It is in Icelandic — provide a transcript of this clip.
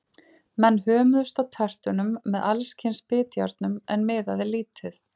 Menn hömuðust á tertunum með alls kyns bitjárnum, en miðaði lítið.